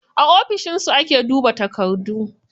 A ofishin su ake duba takardu.